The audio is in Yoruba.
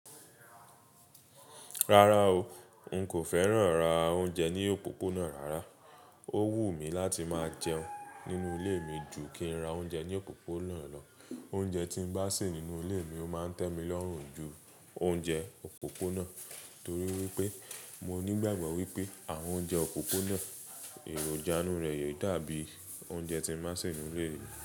Rárá o, n kò fẹ́ràn ra oúnjẹ ní òpópónà rárá. Ó wù mí láti máa jẹun nínú ilé mi ju kí n ra oúnjẹ ní òpópónà lọ. Oúnjẹ tí n bá se nínú ilé mi ó ma ń tẹ́mi lọ́rùn ju oúnjẹ òpópónà torí wípé mo nígbàgbọ́ wípé àwọn oúnjẹ òpópónà, èròjà inú rẹ̀ yè dàbí oúnjẹ tí ń má ṣe nínú ilé mi.